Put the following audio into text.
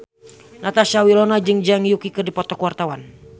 Natasha Wilona jeung Zhang Yuqi keur dipoto ku wartawan